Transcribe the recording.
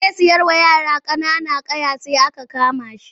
Zai sayarwa yara ƙanana ƙwaya sai aka kana shi.